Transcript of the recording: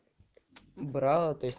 брала то есть